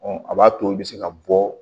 Ɔ a b'a to i bɛ se ka bɔ